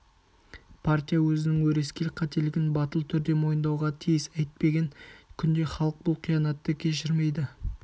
партия өзінің өрескел қателігін батыл түрде мойындауға тиіс әйтпеген күнде халық бұл қиянатты кешірмейді